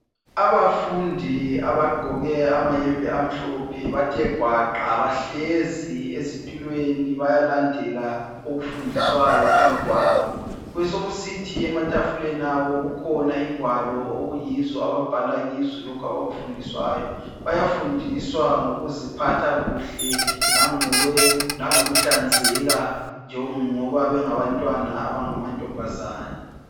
Abafundi abagqoke amayembe amhlophe bathe gwaqa bahlezi ezitulweni bayalandela okufundiswayo phambi kwabo besokusithi ematafuleni abo kukhona ingwalo okuyizo ababhala kizo lokho abakufundiswayo. Bayafundiswa ngokuziphatha kuhle langokuhlanzeka njengoba bengabantwana abangamantombazana.